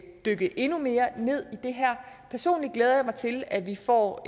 dykke endnu mere ned i det her personligt glæder jeg mig til at vi får